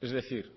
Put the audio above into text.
es decir